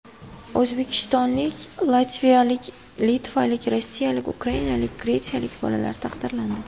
O‘zbekistonlik, latviyalik, litvalik, rossiyalik, ukrainalik, gretsiyalik bolalar taqdirlandi.